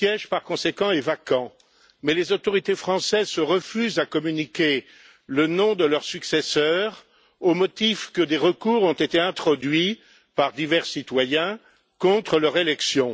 Par conséquent, leur siège est vacant, mais les autorités françaises se refusent à communiquer le nom de leurs successeurs, au motif que des recours ont été introduits par divers citoyens contre leur élection.